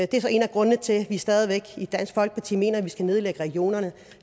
det er så en af grundene til at vi stadig væk i dansk folkeparti mener at vi skal nedlægge regionerne